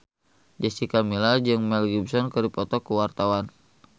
Jessica Milla jeung Mel Gibson keur dipoto ku wartawan